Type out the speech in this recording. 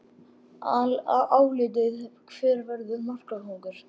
Álitið: Hver verður markakóngur?